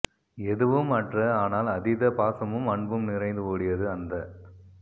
எதுவும் அற்ற ஆனால் அதீத பாசமும் அன்பும் நிறைந்து ஓடியது அந்த